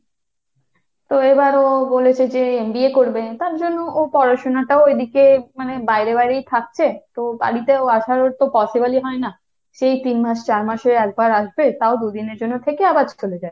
তো এবার ও বলেছে যে MBA করবে। তার জন্য ও পড়াশোনাটাও ওইদিকে মানে বাইরে বাইরেই থাকছে। তো বাড়িতে ও আসার ওর তো possible ই হয় না সেই তিন মাস চার মাসে একবার আসবে তাও দুদিনের জন্য থেকে আবার চলে যায়।